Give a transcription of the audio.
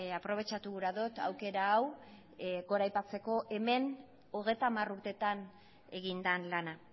aprobetxatu gura dut aukera hau goraipatzeko hemen hogeita hamar urtetan egin den lana